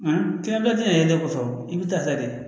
Nka kilanba tɛ na yelen kɔfɛ i bɛ taa ta de